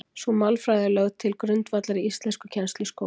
Sú málfræði er lögð til grundvallar í íslenskukennslu í skólum.